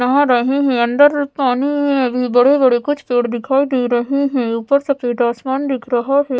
नहा रहे हैं अंदर पानी में अभी बड़े बड़े कुछ पेड़ दिखाई दे रहे हैं ऊपर सफेद आसमान दिख रहा है।